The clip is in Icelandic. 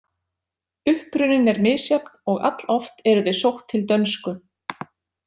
Uppruninn er misjafn og alloft eru þau sótt til dönsku.